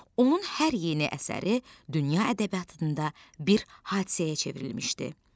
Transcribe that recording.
Onun hər yeni əsəri dünya ədəbiyyatında bir hadisəyə çevrilmişdi.